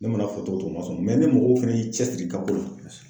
Ne mana fɔ cogo cogo u ma sɔn ni mɔgɔ fɛnɛ y'i cɛsiri i ka ko la.